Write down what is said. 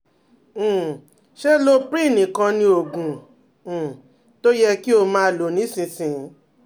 um Ṣé Loprin nìkan ni oògùn um tó yẹ kí o máa lò nísinsìnyí?